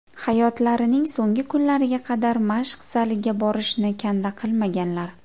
Hayotlarining so‘nggi kunlariga qadar mashq zaliga borishni kanda qilmaganlar.